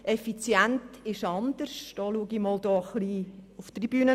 Effizienz ist etwas anderes.